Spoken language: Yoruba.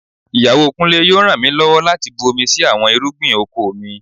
Ìyàwó Kúnlé yóò ràn mí lọ́wọ́ láti bu omi sí àwọn irúgbìn oko mi